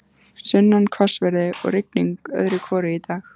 Sunnan hvassviðri og rigning öðru hvoru í dag.